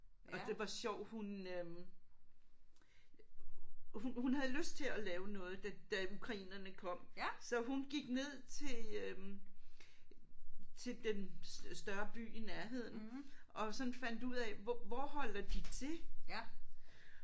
Og det var sjovt hun øh hun hun havde lyst til at lave noget da da ukrainerne kom så hun gik ned til øh til den større by i nærheden og sådan fandt ud af hvor hvor holder de til